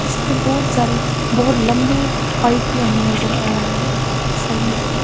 इस पर बहुत सारे बहुत लंबे पाइप भी हमे नजर आ रहा है साइड में--